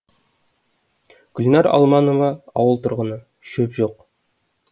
гүлнәр алманова ауыл тұрғыны шөп жоқ